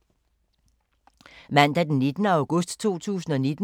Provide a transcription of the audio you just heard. Mandag d. 19. august 2019